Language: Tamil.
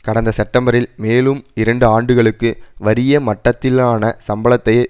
கடந்த செப்டெம்பரில் மேலும் இரண்டு ஆண்டுகளுக்கு வறிய மட்டத்திலான சம்பளத்தையே